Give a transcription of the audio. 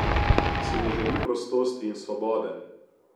Si ne želi prostosti in svobode?